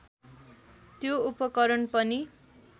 त्यो उपकरण पनि